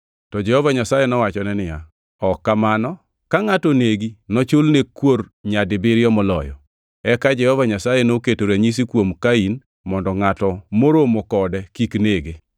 To Jehova Nyasaye nowachone niya, “Ok kamano, ka ngʼato onegi, nochul ne kuor nyadibiriyo moloyo.” Eka Jehova Nyasaye noketo ranyisi kuom Kain mondo ngʼato moromo kode kik nege.